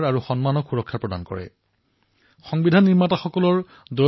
এই উপলক্ষে সংসদ ভৱনত বিশেষ আয়োজন কৰা হব আৰু সমগ্ৰ বৰ্ষজুৰি দেশত বিভিন্ন কাৰ্যসূচী পালন কৰা হব